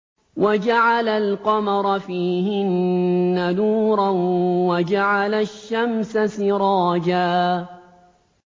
وَجَعَلَ الْقَمَرَ فِيهِنَّ نُورًا وَجَعَلَ الشَّمْسَ سِرَاجًا